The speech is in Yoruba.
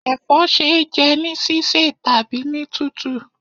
Ẹ̀fọ́ ṣe é jẹ́ ní sísẹ̀ tàbí ní tútù.